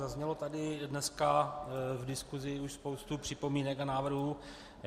Zazněla tady dneska v diskusi už spousta připomínek a návrhů.